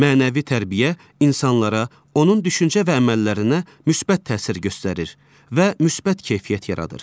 Mənəvi tərbiyə insanlara, onun düşüncə və əməllərinə müsbət təsir göstərir və müsbət keyfiyyət yaradır.